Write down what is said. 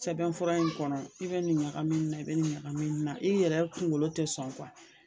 Sɛbɛn fura in kɔnɔ i bɛ nin ɲagami ni na, i bɛ nin ɲagami ni na, i yɛrɛ kunkolo tɛ sɔn